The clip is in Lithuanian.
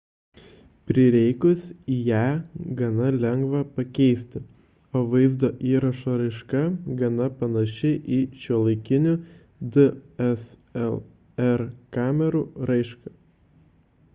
prireikus ją gana lengva pakeisti o vaizdo įrašo raiška gana panaši į šiuolaikinių dslr kamerų raišką